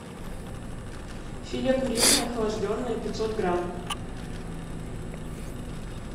филе куриное охлажденное пятьсот грамм